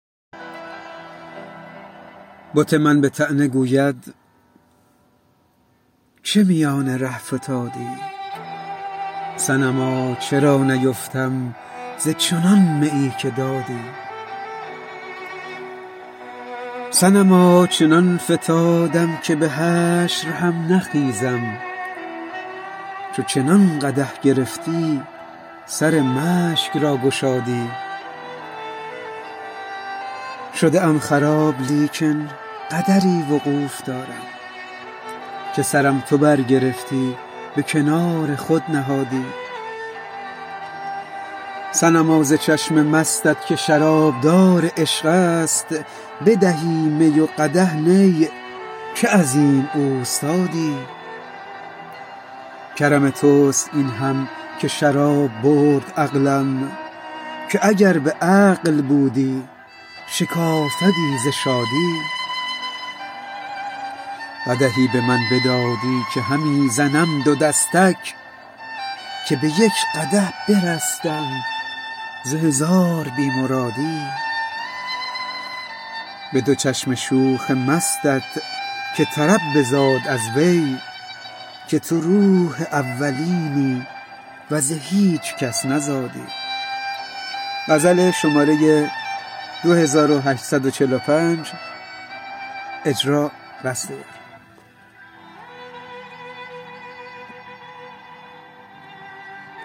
بت من به طعنه گوید چه میان ره فتادی صنما چرا نیفتم ز چنان میی که دادی صنما چنان فتادم که به حشر هم نخیزم چو چنان قدح گرفتی سر مشک را گشادی شده ام خراب لیکن قدری وقوف دارم که سرم تو برگرفتی به کنار خود نهادی صنما ز چشم مستت که شرابدار عشق است بدهی می و قدح نی چه عظیم اوستادی کرم تو است این هم که شراب برد عقلم که اگر به عقل بودی شکافدی ز شادی قدحی به من بدادی که همی زنم دو دستک که به یک قدح برستم ز هزار بی مرادی به دو چشم شوخ مستت که طرب بزاد از وی که تو روح اولینی و ز هیچ کس نزادی